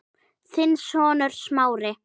Þinn sonur, Smári.